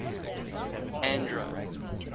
andro